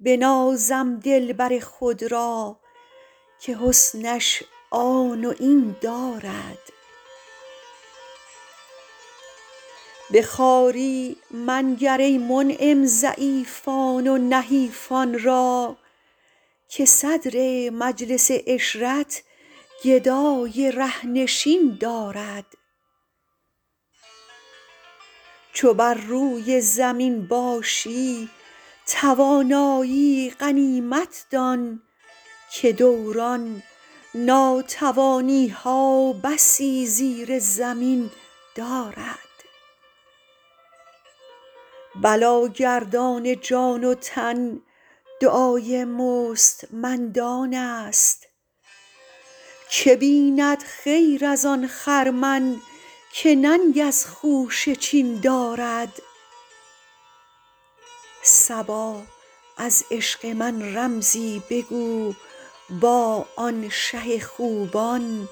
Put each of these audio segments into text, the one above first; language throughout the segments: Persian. بنازم دلبر خود را که حسنش آن و این دارد به خواری منگر ای منعم ضعیفان و نحیفان را که صدر مجلس عشرت گدای ره نشین دارد چو بر روی زمین باشی توانایی غنیمت دان که دوران ناتوانی ها بسی زیر زمین دارد بلاگردان جان و تن دعای مستمندان است که بیند خیر از آن خرمن که ننگ از خوشه چین دارد صبا از عشق من رمزی بگو با آن شه خوبان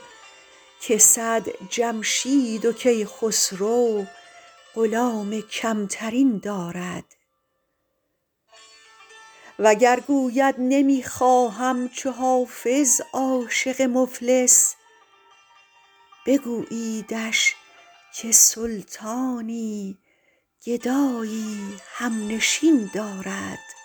که صد جمشید و کیخسرو غلام کم ترین دارد وگر گوید نمی خواهم چو حافظ عاشق مفلس بگوییدش که سلطانی گدایی هم نشین دارد